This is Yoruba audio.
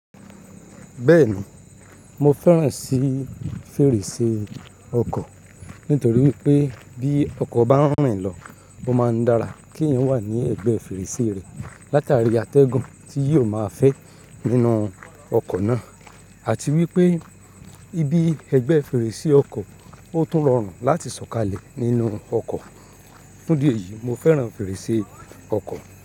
Bẹ́ẹ̀ni, mo fẹ́ràn sí fèrèsé ọkọ̀ nítorí pé bí ọkọ̀ bá ń rìn lọ, ó máa ń dára kí èèyàn wà ní ẹ̀gbẹ́ fèrèsé rẹ̀ látàrí àtẹ́gùn tí yóò máa fẹ́ nínú ọkọ̀ náà àti wípé ibi ẹgbẹ́ fèrèsé ọkọ̀ ó tún rọrùn láti sọ̀kalẹ̀ nínú ọkọ̀. Fun ìdí eyìí, mo fẹ́ràn fèrèsé ọkọ̀